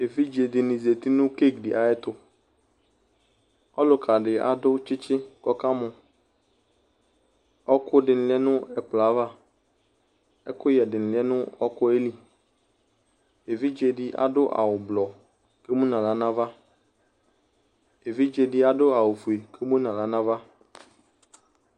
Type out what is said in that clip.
Evidze dini zati nʋ keki di ayɛtʋ Ɔlʋka di adʋ tsitsi kʋ ɔkamɔ Ɔɔkʋ di lɛ nʋ ɛkplɔ yɛ ava Ɛkʋyɛ di ni lɛ nʋ ɔɔkʋ yɛ li Evidze di adʋ awʋ ʋblʋɔ kʋ emu nʋ aɣla nava Evidze di adʋ awʋ fue kʋ emʋ nʋ aɣla nava